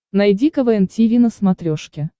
найди квн тиви на смотрешке